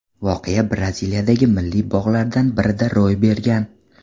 Voqea Braziliyadagi milliy bog‘lardan birida ro‘y bergan.